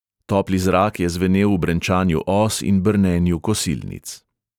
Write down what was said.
Topli zrak je zvenel v brenčanju os in brnenju kosilnic.